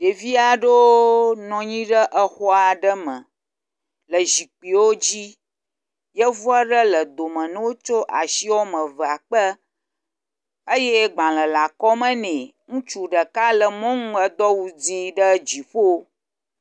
Ɖevi aɖewo nɔ anyi ɖe exɔ aɖe me le zikpuiwo dzi. Yevu aɖe le dome na wo tsɔ asi wɔme evea kpe eye gbale le akɔme bɛ. Ŋutsu ɖeka le mɔnu edo awu dzi ɖe dziƒo.